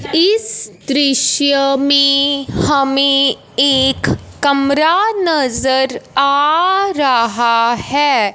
इस दृश्य में हमें एक कमरा नजर आ रहा है।